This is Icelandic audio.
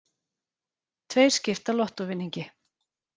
Tveir skipta lottóvinningi